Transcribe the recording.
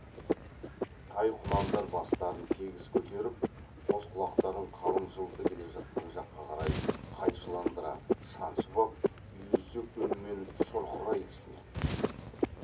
тай құнандар бастарын тегіс көтеріп қос құлақтарын қалың жылқы келе жатқан жаққа қарай қайшыландыра шаншып ап үйірсек үнмен шұрқырай кісінеді